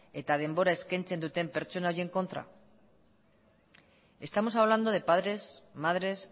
eta denbora eskaintzen duten pertsona horien kontra estamos hablando de padres madres